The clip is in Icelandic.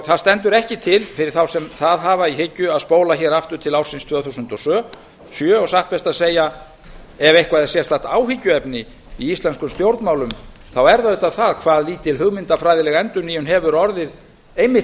það stendur ekki til fyrir þá sem það hafa í hyggju að spóla hér aftur til ársins tvö þúsund og sjö og satt best að segja ef eitthvað er sérstakt áhyggjuefni í íslenskum stjórnmálum er það auðvitað það hvað lítil hugmyndafræðileg endurnýjun hefur orðið einmitt